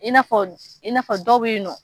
I n'a fɔ i n'a fɔ dɔw bɛ yen nɔ